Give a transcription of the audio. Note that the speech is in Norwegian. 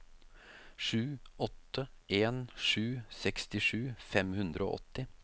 sju åtte en sju sekstisju fem hundre og åtti